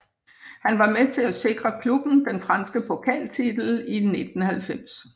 Han var med til at sikre klubben den franske pokaltitel i 1990